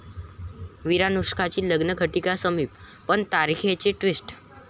विरानुष्का'ची लग्नघटीका समीप पण तारखेवरून 'ट्विस्ट'